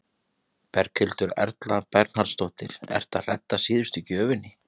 Berghildur Erla Bernharðsdóttir: Ertu að redda síðustu gjöfinni?